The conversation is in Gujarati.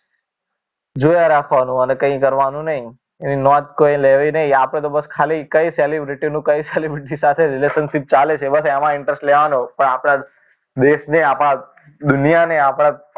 જોયા રાખવાનું અને કંઈ કરવાનું નહીં એની નોંધ કોઈએ લેવી નહીં આપણે તો બસ ખાલી કઈ celebrity નું કઈ celebrity સાથે relationship ચાલે છે બસ એમા જ interest લેવાનો પણ આપણા દેશને આપણા દુનિયાને આપણા